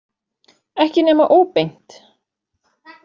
Ekki nema óbeint.